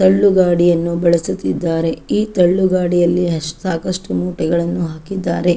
ತಳ್ಳುಗಾಡಿಯನ್ನು ಬಳಸುತ್ತಿದ್ದಾರೆ ಈ ತಳ್ಳುಗಾಡಿಯಲ್ಲಿ ಸಾಕಷ್ಟು ಮೂಟೆಗಳನ್ನು ಹಾಕಿದ್ದಾರೆ.